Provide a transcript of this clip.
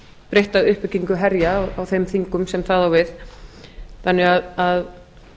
breytta uppbyggingu herja á þeim þingum sem það á við þannig að